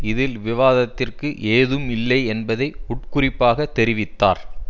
இதில் விவாதத்திற்கு ஏதும் இல்லை என்பதை உட்குறிப்பாகத் தெரிவித்தார்